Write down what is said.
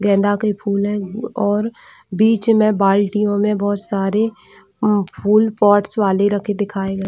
गेंदा के फूल और बीच में बाल्टियों में बहोत सारे उम फूल पोर्ट्स वाले दिखाए गए--